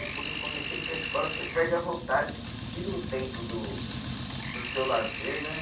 Quando eu comecei a ir para a escola, você perde a vontade, porque tira um tempo do do seu lazer, né?